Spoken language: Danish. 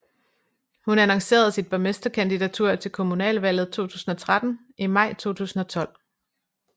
Hun annoncerede sit borgmesterkandidatur til Kommunalvalget 2013 i maj 2012